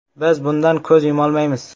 “Biz bundan ko‘z yumolmaymiz.